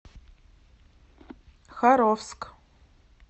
харовск